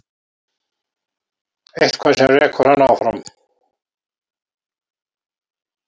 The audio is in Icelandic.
Eitthvað sem rekur hann áfram.